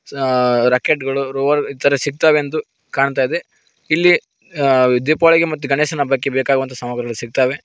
Rocket ಗಳು ರೊ ಈತರ ಸಿಗ್ತವೆಂದು ಕಾಣ್ತಾಯಿದೆ ಇಲ್ಲಿ ದೀಪಾವಳಿಗೆ ಮತ್ತೆ ಗಣೇಶನ ಹಬ್ಬಕ್ಕೆ ಬೇಕಾಗುವಂತಹ ಸಾಮಗ್ರಿಗಳು ಸಿಕ್ತಾವೆ.